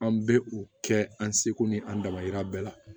An bɛ u kɛ an seko ni an dama yira bɛɛ la